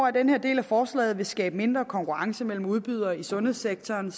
at den her del af forslaget vil skabe mindre konkurrence mellem udbydere i sundhedssektoren